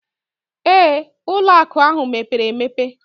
Ee, ụlọ akụ ahụ mepere emepe